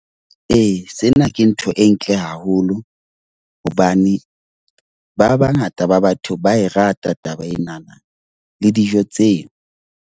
Ee, sena ke ntho e ntle haholo hobane ba bangata ba batho ba e rata taba enana le dijo tseo.